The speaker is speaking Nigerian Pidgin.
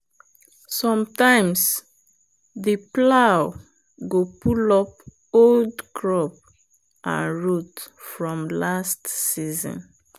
sometimes the plow go pull up old crop and root from last season.